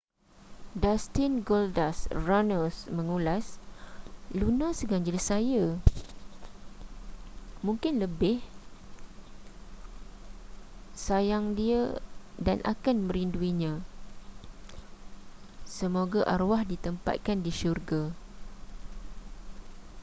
dustin goldust” runnels mengulas luna seganjil saya ...mungkin lebih...sayang dia dan akan merinduinya...semoga arwah ditempatkan di syurga.